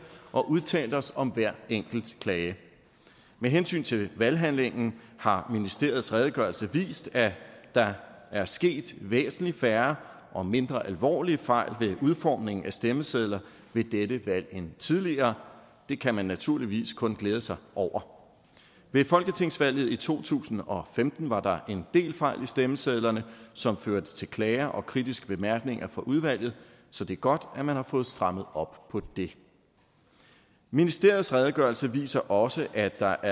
og udtalt os om hver enkelt klage med hensyn til valghandlingen har ministeriets redegørelse vist at der er sket væsentlig færre og mindre alvorlige fejl ved udformningen af stemmesedler ved dette valg end tidligere det kan man naturligvis kun glæde sig over ved folketingsvalget i to tusind og femten var der en del fejl i stemmesedlerne som førte til klager og kritiske bemærkninger fra udvalget så det er godt at man har fået strammet op på det ministeriets redegørelse viser også at der